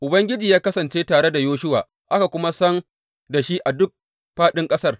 Ubangiji ya kasance tare da Yoshuwa, aka kuma san da shi a duk fāɗin ƙasar.